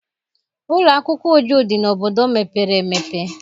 Ụlọ akwụkwọ Uju dị n'obodo mepere emepe.